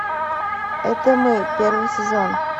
это мы первый сезон